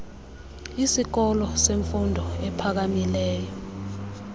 isikolo semfundo ephakamileyo